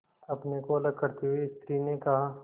अपने को अलग करते हुए स्त्री ने कहा